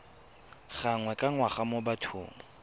gangwe ka ngwaga mo bathong